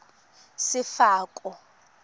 sefako